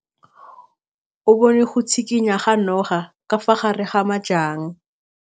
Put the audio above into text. O bone go tshikinya ga noga ka fa gare ga majang.